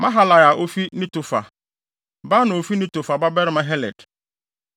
Maharai a ofi Netofa; Baana a ofi Netofa babarima Heled;